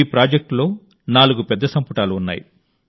ఈ ప్రాజెక్ట్లో నాలుగు పెద్ద సంపుటాలు ఉన్నాయి